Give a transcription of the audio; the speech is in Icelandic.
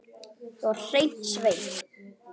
Ég var hreinn sveinn.